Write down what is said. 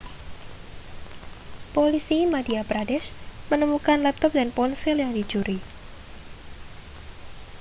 polisi madhya pradesh menemukan laptop dan ponsel yang dicuri